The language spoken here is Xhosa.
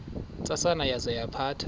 ntsasana yaza yaphatha